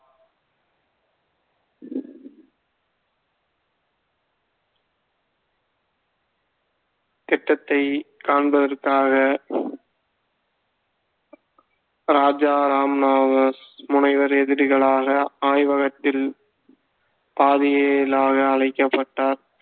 திட்டத்தைக் காண்பதற்காக ராஜா ராமண்ணாவால் முனைவர் எதிரிகளாக ஆய்வகத்தில் பாதிலியாக அழைக்கப்பட்டார்